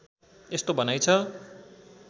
यस्तो भनाइ छ